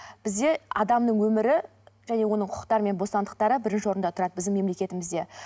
бізде адамның өмірі және оның құқықтары мен бостандықтары бірінші орында тұрады біздің мемлекетімізде